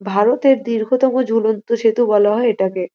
ভারতের দীর্ঘতম ঝুলন্ত সেতু বলা হয় এটাকে।